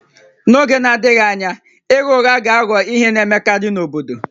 N'oge na-adịghị anya ịgha ụgha ga-aghọ ihe na-emekarị n'obodo